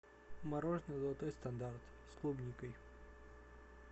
мороженое золотой стандарт с клубникой